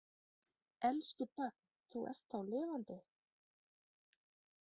Elsku barn, þú ert þá lifandi.